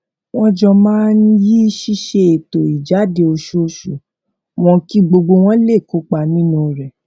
wón jọ máa ń yí ṣíṣe ètò ìjáde oṣooṣù wón kí gbogbo wọn lè kópa nínú rè